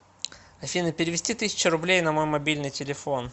афина перевести тысячу рублей на мой мобильный телефон